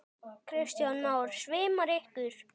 Kristján Már: Svimaði ykkur?